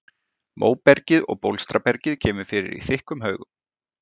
Móbergið og bólstrabergið kemur fyrir í þykkum haugum.